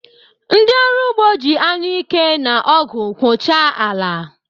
Ndị ọrụ ugbo ji anụike na ọgụ kwọchaa ala.